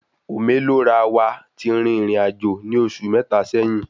Ome Lo Ra wà tí rìn ìrìnàjò ní oṣù mẹta sẹ́yín